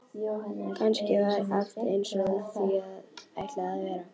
Kannski var allt einsog því var ætlað að vera.